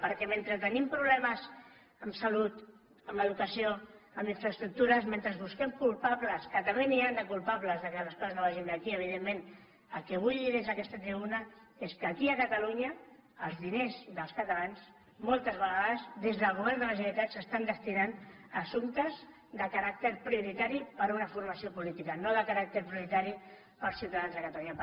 perquè mentre tenim problemes en salut en educació en infraestructures mentre busquem culpables que també n’hi han de culpables que les coses no vagin bé aquí evidentment el que vull dir des d’aquesta tribuna és que aquí a catalunya els diners dels catalans moltes vegades des del govern de la generalitat s’estan destinant a assumptes de caràcter prioritari per a una formació política no de caràcter prioritari per als ciutadans de catalunya